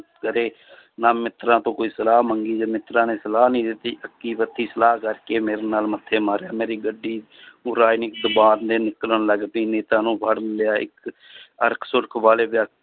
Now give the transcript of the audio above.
ਕਰੇ ਨਾ ਮਿੱਤਰਾਂ ਤੋਂ ਕੋਈ ਸਲਾਹ ਮੰਗੀ, ਜੇ ਮਿੱਤਰਾਂ ਨੇ ਸਲਾਹ ਨੀ ਦਿੱਤਾ ਸਲਾਹ ਕਰਕੇ ਮੇਰੇ ਨਾਲ ਮੱਥੇ ਮਾਰਿਆ ਮੇਰੀ ਗੱਡੀ ਨੂੰ ਰਾਜਨੀਤਿਕ ਨਿਕਲਣ ਲੱਗ ਪਈ ਨੇਤਾ ਨੂੰ ਫੜ ਲਿਆ ਇੱਕ